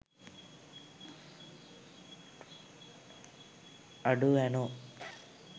අඩෝ ඇනෝ